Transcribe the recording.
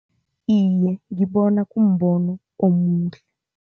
Iye, ngibona kumbono omuhle.